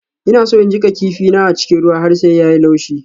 Ina so in jiƙa kifin na a cikin ruwa har sai ya yi laushi.